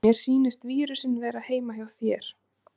Niðurstaða stofnunarinnar ekki einstakra starfsmanna